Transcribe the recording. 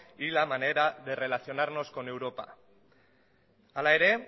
y la manera de relacionarnos con europa hala ere